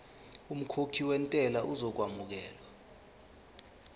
umkhokhi wentela uzokwamukelwa